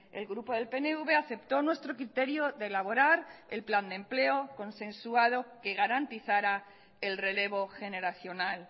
el grupo del pnv aceptó nuestro criterio de elaborar el plan de empleo consensuado que garantizara el relevo generacional